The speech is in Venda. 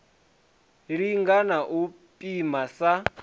linga na u pima sa